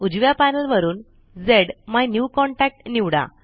उजव्या पैनल वरूनZMyNewContact निवडा